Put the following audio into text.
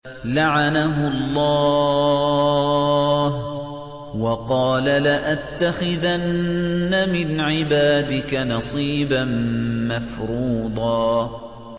لَّعَنَهُ اللَّهُ ۘ وَقَالَ لَأَتَّخِذَنَّ مِنْ عِبَادِكَ نَصِيبًا مَّفْرُوضًا